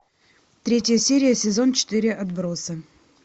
третья серия сезон четыре отбросы